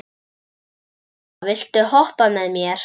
Fía, viltu hoppa með mér?